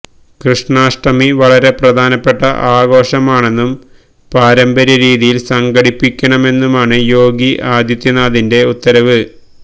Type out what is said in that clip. കൃഷ്ണാഷ്ടമി വളരെ പ്രധാനപ്പെട്ട ആഘോഷമാണെന്നും പാരമ്പര്യരീതിയില് സംഘടിപ്പിക്കണമെന്നുമാണ് യോഗി ആദിത്യനാഥിന്റെ ഉത്തരവ്